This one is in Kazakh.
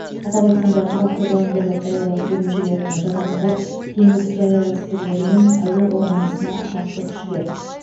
атап айтқанда тұрақты жауынгерлік даярлық бөлімшелеріне жататындар теңіз жаяу әскерлері мен әуе қорғанысына қарсы күштер